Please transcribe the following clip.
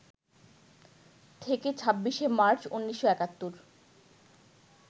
থেকে ২৬শে মার্চ, ১৯৭১